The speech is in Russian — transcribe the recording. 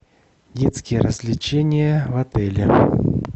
детские развлечения в отеле